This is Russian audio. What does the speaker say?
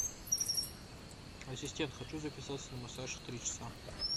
ассистент хочу записаться на массаж в три часа